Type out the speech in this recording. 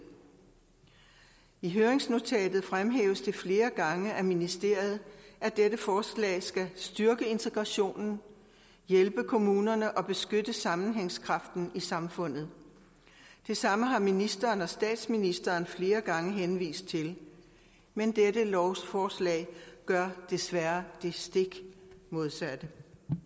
i høringsnotatet fremhæves det flere gange af ministeriet at dette forslag skal styrke integrationen hjælpe kommunerne og beskytte sammenhængskraften i samfundet det samme har ministeren og statsministeren flere gange henvist til men dette lovforslag gør desværre det stik modsatte